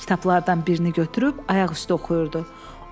Kitablardan birini götürüb ayaq üstə oxuyurdu.